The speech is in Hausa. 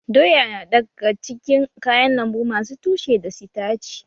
Doya na daga cikin kayan lambu masu tushe da sitaci